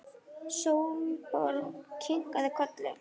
Sólborg kinkaði kolli.